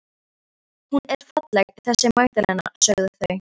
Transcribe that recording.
Hún er falleg þessi Magdalena, sögðu þau.